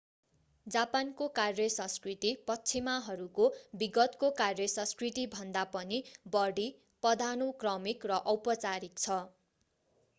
जापानको कार्य संस्कृति पश्चिमाहरूको विगतको कार्य संस्कृति भन्दा पनि बढी पदानुक्रमिक र औपचारिक छ